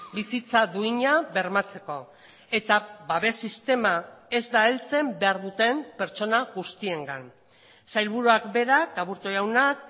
bizitza duina bermatzeko eta babes sistema ez da heltzen behar duten pertsona guztiengan sailburuak berak aburto jaunak